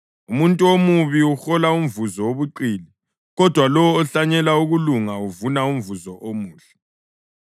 Umuntu omubi uhola umvuzo wobuqili, kodwa lowo ohlanyela ukulunga uvuna umvuzo omuhle.